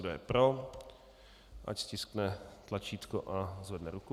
Kdo je pro, ať stiskne tlačítko a zvedne ruku.